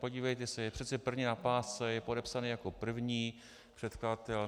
Podívejte se, je přece první na pásce, je podepsaný jako první předkladatel.